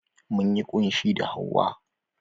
Munyi ƙunshi da hauwa.